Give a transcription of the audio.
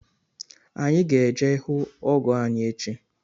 anyị ga-eje ihụ ọgọ anyị echi